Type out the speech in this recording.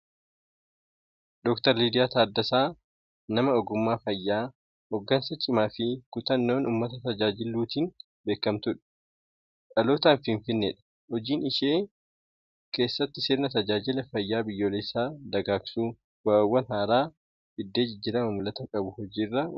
Dr Liyaa Taddasaa nama ogummaa fayyaa, hoggansa cimaa fi kutannoon uummata tajaajiluutiin beekamtuudha. Dhalootaan Finfinneedha. Hojii ishee keessatti sirna tajaajila fayyaa biyyoolessaa dagaagsuu, bu’aawwan haaraa fidee jijjiirama mul’ata qabu hojiirra oolchuu irratti shoora olaanaa nama bahattedha.